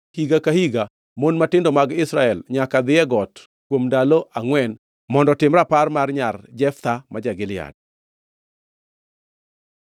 higa ka higa mon matindo mag Israel nyaka dhi e got kuom ndalo angʼwen mondo otim rapar mar nyar Jeftha ma ja-Gilead.